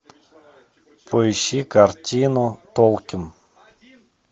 поищи картину толкин